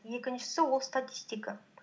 екіншісі ол статистика